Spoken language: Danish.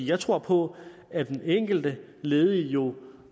jeg tror på at den enkelte ledige jo